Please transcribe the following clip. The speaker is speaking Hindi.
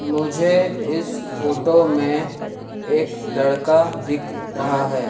मुझे इस फोटो में एक लड़का दिख रहा है।